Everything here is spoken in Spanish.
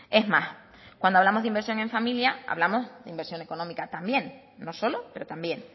es más cuando hablamos de inversión en familia hablamos de inversión económica también no solo pero también